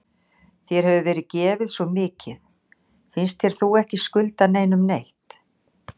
Þér hefur verið gefið svo mikið, finnst þér þú ekki skulda neinum neitt?